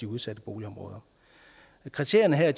udsatte boligområder kriterierne her